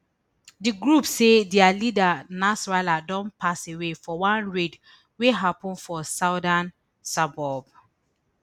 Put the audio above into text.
di group say dia leader nasrallah don pass away for one raid wey happun for southern suburb